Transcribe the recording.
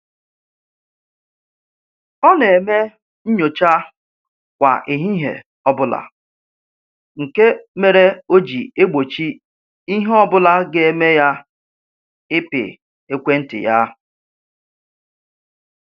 Ọ na-eme nnyocha kwa ehihie ọbụla nke mere o ji egbochi ihe ọbụla ga-eme ya ịpị ekwentị ya